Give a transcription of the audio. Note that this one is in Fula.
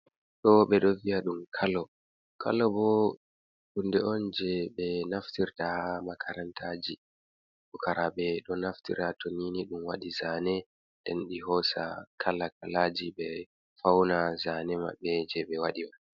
Do be do via dum kalo, kalo bo ɗum hunde on je be naftirta ha makarantaji, pukarabe do naftirta tonini dum wadi zane den di hosa kalakalaji be fauna zane mabbe je be wadi wani.